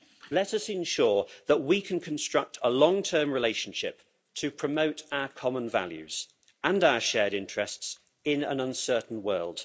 Let us ensure that we can construct a long-term relationship to promote our common values and our shared interests in an uncertain world.